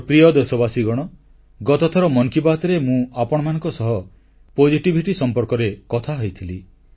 ମୋର ପ୍ରିୟ ଦେଶବାସୀଗଣ ଗତଥର ମନ କି ବାତ୍ ରେ ମୁଁ ଆପଣମାନଙ୍କ ସହ ସକାରାତ୍ମକତା ବା ପୋଜିଟିଭିଟି ସମ୍ପର୍କରେ କଥା ହୋଇଥିଲି